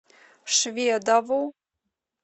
шведову